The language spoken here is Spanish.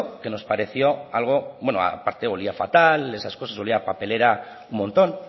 que nos pareció algo bueno aparte olía fatal olía a papelera un montón